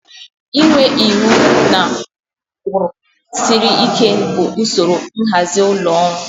Inwe iwu na ụkpụrụ siri ike bụ usoro nhazi ụlọ ọrụ